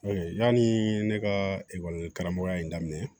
yanni ne ka karamɔgɔya in daminɛ